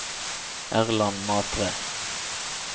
Erland Matre